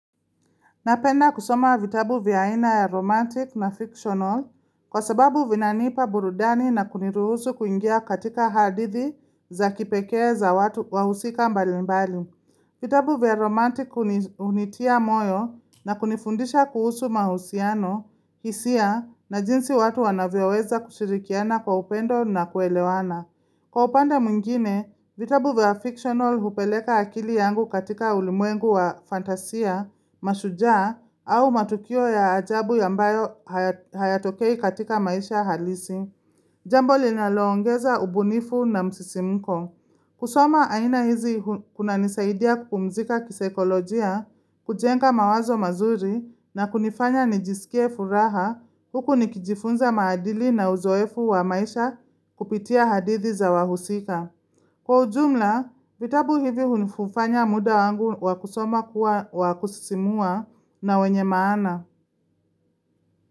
Napenda kusoma vitabu vya aina ya romantic na fictional kwa sababu vinanipa burudani na kuniruhusu kuingia katika hadithi za kipekee za watu wahusika mbalimbali. Vitabu vya romantic hunitia moyo na kunifundisha kuhusu mahusiano, hisia na jinsi watu wanavyoweza kushirikiana kwa upendo na kuelewana. Kwa upande mwingine, vitabu vya fictional hupeleka akili yangu katika ulimwengu wa fantasia, mashujaa, au matukio ya ajabu ambayo hayatokei katika maisha halisi. Jambo linaloongeza ubunifu na msisimko. Kusoma aina hizi kunanisaidia kupumzika kisaikolojia, kujenga mawazo mazuri na kunifanya nijisikie furaha huku nikijifunza maadili na uzoefu wa maisha kupitia hadithi za wahusika. Kwa ujumla, vitabu hivi hufanya muda wangu wa kusoma kuwa wa kusisimua na wenye maana.